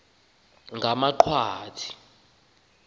ngamaqwathi